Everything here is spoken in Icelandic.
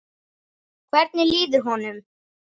Hvernig líður honum?